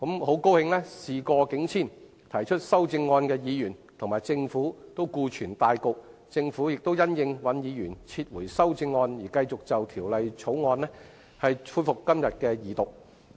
慶幸事過境遷，提出修正案的尹兆堅議員及政府都顧全大局，政府亦因應尹議員撤回修正案而繼續就《條例草案》恢復今天的二讀。